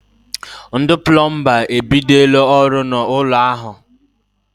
Ndị plọmba e bidola ọrụ n'ụlọ ahụ.